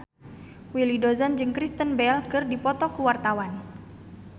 Willy Dozan jeung Kristen Bell keur dipoto ku wartawan